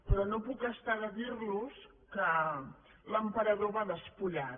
però no em puc estar de dir·los que l’emperador va despullat